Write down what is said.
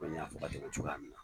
Komi n y'a fɔ ka tɛmɛ cogoya min na.